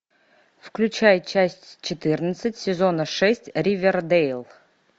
включай часть четырнадцать сезона шесть ривердейл